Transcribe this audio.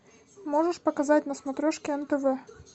можешь показать на смотрешке нтв